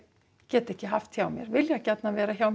get ekki haft hjá mér vilja gjarnan vera hjá mér